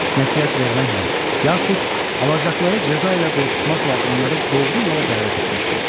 Nəsihət verməklə yaxud alacaqları cəza ilə qorxutmaqla onları doğru yola dəvət etmişdir.